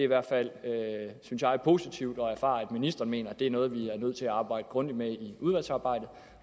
hvert fald synes jeg positivt at erfare at ministeren mener at det er noget vi er nødt til at arbejde grundigt med i udvalgsarbejdet